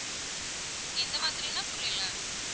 எந்த மாதிரின்னா புரியலா.